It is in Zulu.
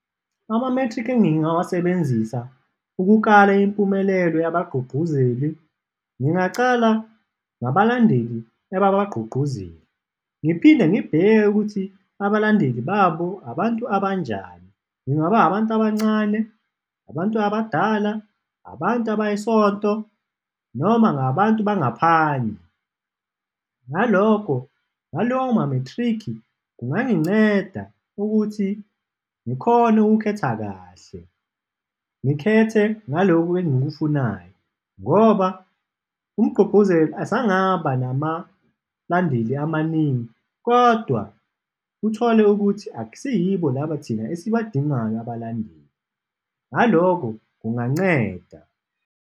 Amamethriki engingawasebenzisa ukukala impumelelo yabagqugquzeli, ngingaqala ngabalandeli ababagqugquzeli ngiphinde ngibheke ukuthi abalandeli babo abantu abanjani, ingaba abantu abancane? Abantu abadala? Abantu abayisonto noma ngabantu bangaphandle? Ngalokho, ngalawo mamethriki, kunganginceda ukuthi ngikhone ukukhetha kahle, ngikhethe naloku engikufunayo ngoba umgqugquzeli asangaba namalandeli amaningi kodwa uthole ukuthi akusiyibo laba thina esibadingayo abalandeli, naloko kunganceda.